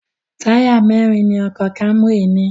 Táyà mẹ́rin ni ọkọ̀ Camry ní.